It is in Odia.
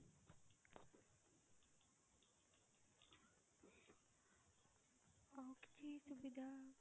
ଆଉ କିଛି ସୁବିଧା?